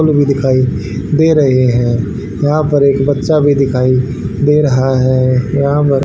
पुल भी दिखाई दे रहे हैं यहां पर एक बच्चा भी दिखाई दे रहा है यहां पर--